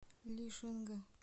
лишинга